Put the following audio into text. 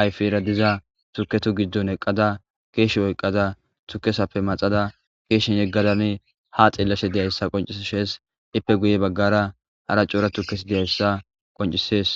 ayfiera diza tuketu giddon eqqada keeshe oyqqada tukesappe maxada keeshen yeggadane ha xeellashe deyayssa qoncis shees ippe guye baggara hara cora tukes deyayssa qoncisees